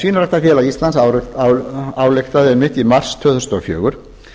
svínaræktarfélag íslands ályktaði einmitt í mars tvö þúsund og fjögur